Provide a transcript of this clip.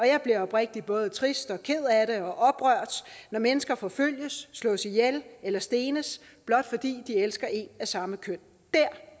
jeg bliver oprigtigt både trist ked af det og oprørt når mennesker forfølges slås ihjel eller stenes blot fordi de elsker en af samme køn